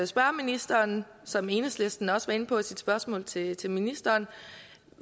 spørge ministeren som enhedslistens ordfører også var inde på i sit spørgsmål til til ministeren